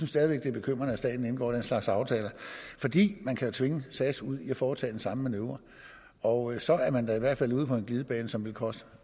stadig væk det er bekymrende at staten indgår den slags aftaler fordi man jo kan tvinge sas ud i at foretage den samme manøvre og så er man da i hvert fald ude på en glidebane som vil koste